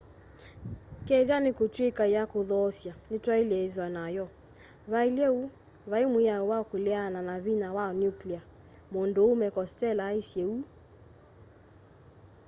kethwa nikutwika ya kuthoosya nitwaile ithwa nayo vailye uu vai mwiao wa kuleana na vinya wa nuclear munduume costello aisye uu